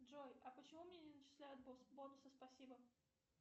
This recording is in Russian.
джой а почему мне не начисляются бонусы спасибо